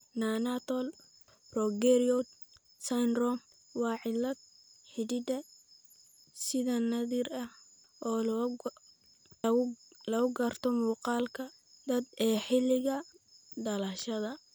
Neonatal progeroid syndrome waa cillad hidde-side naadir ah oo lagu garto muuqaalka da'da ee xilliga dhalashada.